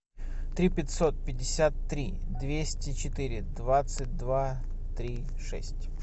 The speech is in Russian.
три пятьсот пятьдесят три двести четыре двадцать два три шесть